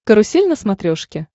карусель на смотрешке